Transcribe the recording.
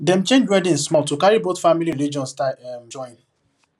dem change wedding small to carry both families religion style um join